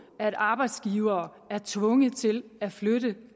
at arbejdsgivere er tvunget til at flytte